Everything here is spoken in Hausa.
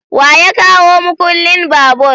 wa ya kawo mukullin babur?